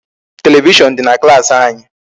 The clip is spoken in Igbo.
Television dị na klaasị anyị.